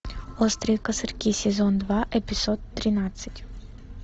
острые козырьки сезон два эпизод тринадцать